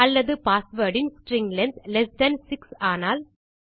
அல்லது பாஸ்வேர்ட் இன் string length lesser than 6 ஆனால்